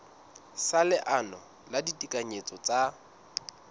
sa leano la ditekanyetso tsa